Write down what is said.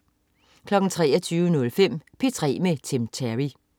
23.05 P3 med Tim Terry